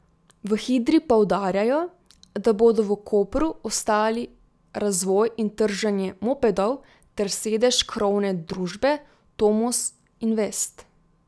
V Hidri poudarjajo, da bodo v Kopru ostali razvoj in trženje mopedov ter sedež krovne družbe Tomos Invest.